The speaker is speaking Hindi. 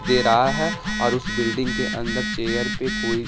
दे रहा है और उस बिल्डिंग के अंदर चेयर पे कोई--